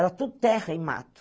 Era tudo terra e mato.